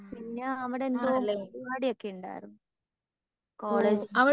പിന്നെ അവിടെന്തോ പരുപാടി ഒകെ ഉണ്ടാർന്നു കോളേജിൻ്റെ